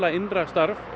innra starf